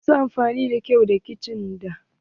Wasu na amfani da kayan kicin da.